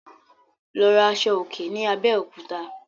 Lọ rà Aṣọ òkè ni Abéòkúta